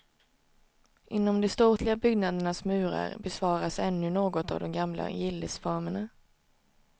Inom de ståtliga byggnadernas murar bevaras ännu något av de gamla gillesformerna.